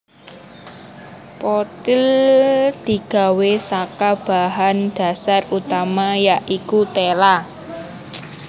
Pothil digawe saka bahan dhasar utama ya iku tela